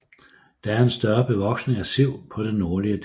Der er en større bevoksning af siv på den nordlige del